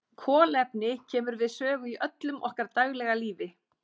Kolefni kemur við sögu í öllu okkar daglega lífi.